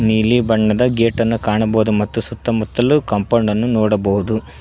ನೀಲಿ ಬಣ್ಣದ ಗೇಟ್ ಅನ್ನ ಕಾಣಬಹುದು ಮತ್ತು ಸುತ್ತ ಮುಟ್ಟಲು ಕಾಂಪೌಂಡ್ ಅನ್ನು ನೋಡಬಹುದು.